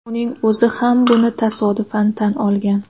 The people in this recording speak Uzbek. Uning o‘zi ham buni tasodifan tan olgan.